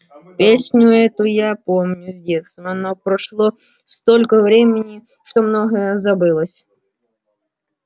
песню эту я помню с детства но прошло столько времени что многое забылось